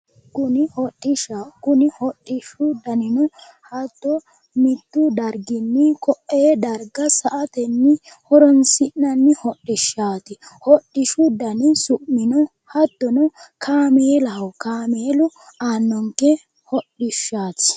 Kuni hodhishshaho, kuni hodhishshu danino hatto mittu darginninko"e darga sa"atenni horonsi'nanni hodhishaati, hodhishshu danino su'mino hattono kaameelaho, kaameelu aannonke hodhishshaati